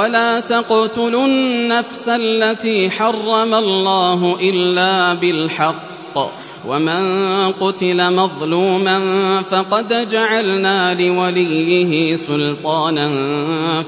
وَلَا تَقْتُلُوا النَّفْسَ الَّتِي حَرَّمَ اللَّهُ إِلَّا بِالْحَقِّ ۗ وَمَن قُتِلَ مَظْلُومًا فَقَدْ جَعَلْنَا لِوَلِيِّهِ سُلْطَانًا